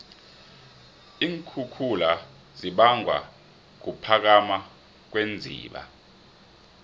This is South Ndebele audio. iinkhukhula zibangwa kuphakama kweenziba